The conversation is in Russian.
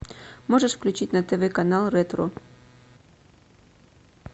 можешь включить на тв канал ретро